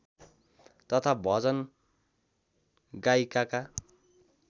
तथा भजन गायिकाका